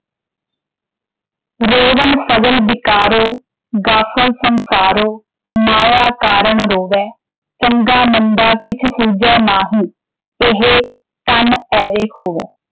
ਰੋਵਣੁ ਸਗਲ ਬਿਕਾਰੋ ਗਾਫਲੁ ਸੰਸਾਰੋ ਮਾਇਆ ਕਾਰਣਿ ਰੋਵੈ ॥ ਚੰਗਾ ਮੰਦਾ ਕਿਛੁ ਸੂਝੈ ਨਾਹੀ ਇਹੁ ਤਨੁ ਏਵੈ ਖੋਵੈ ॥